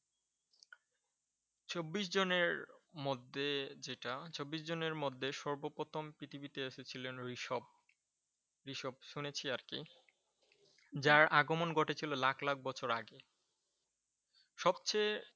চব্বিশ জনের মধ্যে যেটা চব্বিশ জনের মধ্যে সর্বপ্রথম পৃথিবীতে এসেছিলেন ওইসব শুনেছি আর কি। যার আগমন ঘটেছিল লাখ লাখ বছর আগে সবচেয়ে